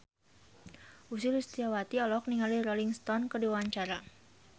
Ussy Sulistyawati olohok ningali Rolling Stone keur diwawancara